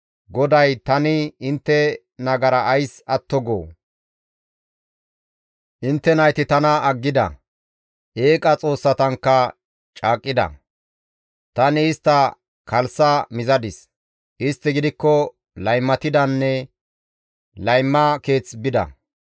GODAY, «Tani intte nagara ays atto goo? Intte nayti tana aggida; eeqa xoossatankka caaqqida; Tani istta kalssa mizadis; istti gidikko laymatidanne layma keeth bida.